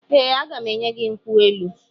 Ee, aga m enye gị nkwụ elu.